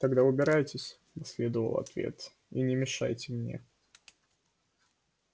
тогда убирайтесь последовал ответ и не мешайте мне